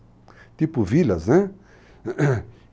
Tipo vilas, né?